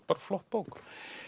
flott bók